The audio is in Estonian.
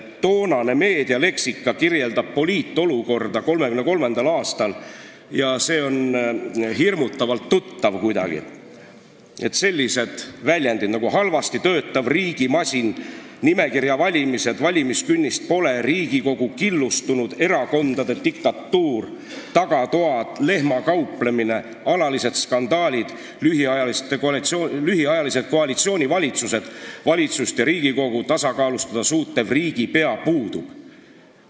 Toonane meedialeksika kirjeldab poliitolukorda 1933. aastal ja see on kuidagi hirmutavalt tuttav: kasutusel olid sellised väljendid nagu halvasti töötav riigimasin, nimekirjavalimised, valimiskünnist pole, Riigikogu killustunud erakondade diktatuur, tagatoad, lehmakauplemine, alalised skandaalid, lühiajalised koalitsioonivalitsused, valitsust ja Riigikogu tasakaalustada suutev riigipea puudub.